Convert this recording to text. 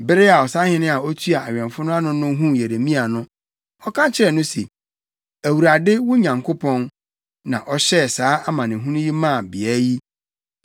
Bere a ɔsahene a otua awɛmfo no ano no huu Yeremia no, ɔka kyerɛɛ no se, “ Awurade, wo Nyankopɔn, na ɔhyɛɛ saa amanehunu yi maa beae yi.